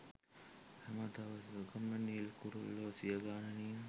හැම දවසකම නිල් කුරුල්ලෝ සියගණනින්